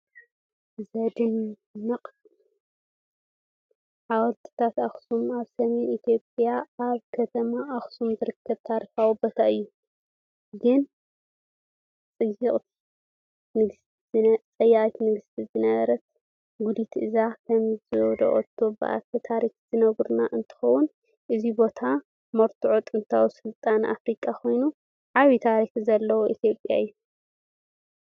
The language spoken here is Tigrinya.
ዘድንቕ! ሓወልትታት ኣክሱም ኣብ ሰሜን ኢትዮጵያ ኣብ ከተማ ኣክሱም ዝርከብ ታሪኻዊ ቦታ እዩ። ግን ፀይቂ ንግስቲ ዝነበረት ጉዲት እዚ ከምዘውደቐቶ ብኣፈ ታሪክ ዝንገር እንትኸውን፣ እዚ ቦታ መርትዖ ጥንታዊ ስልጣነ ኣፍሪቃ ኮይኑ ዓቢ ታሪኻዊ ሓወልቲ ኢትዮጵያ እዩ።